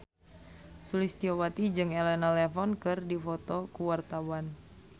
Sulistyowati jeung Elena Levon keur dipoto ku wartawan